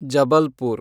Jabalpur